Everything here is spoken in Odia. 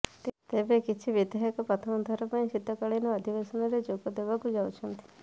ତେବେ କିଛି ବିଧାୟକ ପ୍ରଥମ ଥର ପାଇଁ ଶୀତକାଳୀନ ଅଧିବେଶନରେ ଯୋଗଦେବାକୁ ଯାଉଛନ୍ତି